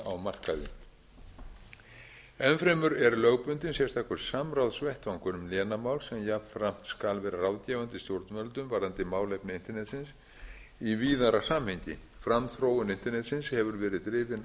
á markaði enn fremur er lögbundinn sérstakur samráðsvettvangur um lénamál sem jafnframt skal vera ráðgefandi stjórnvöldum varðandi málefni internetsins í víðara samhengi framþróun internetsins hefur verið drifin af